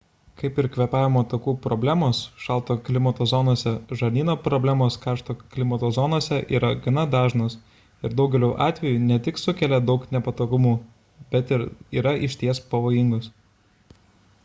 kaip ir kvėpavimo takų problemos šalto klimato zonose žarnyno problemos karšto klimato zonose yra gana dažnos ir daugeliu atvejų ne tik sukelia daug nepatogumų bet ir yra išties pavojingos